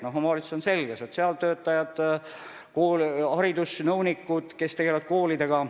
Näiteks on selge, millega tegelevad sotsiaaltöötajad, haridusnõunikud tegelevad koolidega.